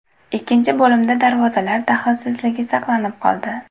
Ikkinchi bo‘limda darvozalar daxlsizligi saqlanib qoldi.